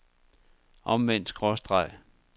omvendt skråstreg